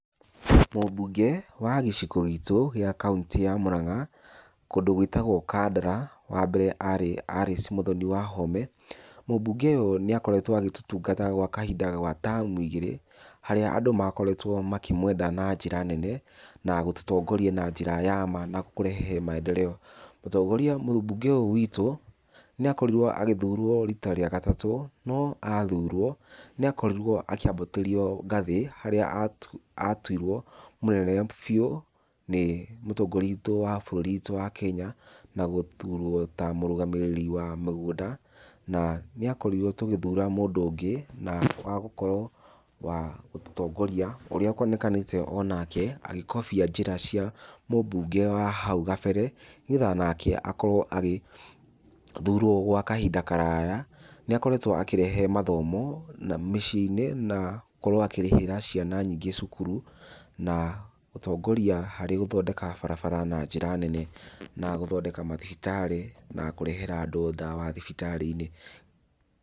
Mũmbunge wa gĩcigo gitũ gĩa kauntĩ ya Mũranga, kũndũ gwĩtagũo Kandara, wambere arĩ Alice Mũthoni Wahome. Mũmbunge ũyũ nĩ akoretwo agĩtũtungata gwa kahinda ga tamu ingĩrĩ, harĩa andũ makoretwo makĩmwenda na njĩra nene, na gũtũtongoria na njĩra ya ma, na kũrehe maendeleo. Mũtongoria mũmbunge ũyũ witũ, nĩ akorirwo agĩthurwo rita rĩa gatatũ, no athurwo nĩakorirwo akĩambatĩrio ngathĩ harĩa atuirwo mũnene biũ nĩ mũtongoria witũ wa bũrũri witũ wa Kenya, na gũthurwo ta mũrũgamĩrĩri wa mĩgũnda na nĩakorirwo tũgĩthura mũndũ ũngĩ na wa gũkorwo wa gũtũtongoria, ũrĩa kuonekanĩte onake agĩkobia njĩra cia mũmbunge wa hau kabere, nĩgetha nake akorwo agĩthurwo gwa kahinda karaya, nĩakoretwo akĩrehe mathomo mĩciĩ-inĩ na gũkorwo akĩrĩhĩra ciana nyingĩ cukuru, na gũtongoria harĩ gũthondeka barabara na njĩra nene na gũthondeka mathibitarĩ na kũrehera andũ ndawa thibitarĩ-inĩ.